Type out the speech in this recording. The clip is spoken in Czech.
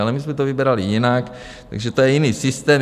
Ale my jsme to vybrali jinak, takže to je jiný systém.